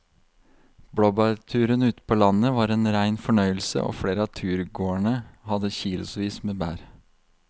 Blåbærturen ute på landet var en rein fornøyelse og flere av turgåerene hadde kilosvis med bær.